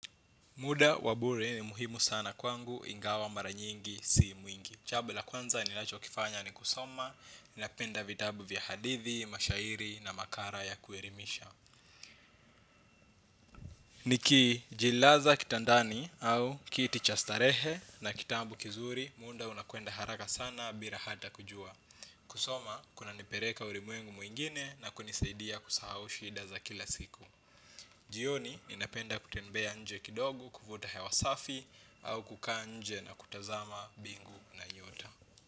Mda wabure ni muhimu sana kwangu ingawa mara nyingi si mwingi. Jambo la kwanza ninacho kifanya ni kusoma, ninapenda vitabu vya hadithi, mashairi na makara ya kuelimisha. Niki jilaza kitandani au kiti cha starehe na kitabu kizuri, muda unakwenda haraka sana bila hata kujua. Kusoma, kuna nipeleka ulimwengu mwingine na kunisaidia kusahau shida za kila siku. Jioni, mi napenda kutembea nje kidogo, kufuta hewa safi, au kukaa nje na kutazama bingu na nyota.